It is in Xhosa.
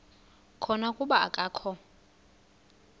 khona kuba akakho